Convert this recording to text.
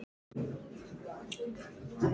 Varð að skilja byssuna eftir.